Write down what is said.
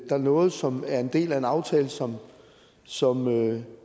der er noget som er en del af en aftale som som